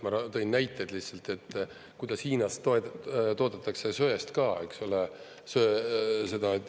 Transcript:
Ma tõin näited lihtsalt, kuidas Hiinas toodetakse söest ka, eks ole.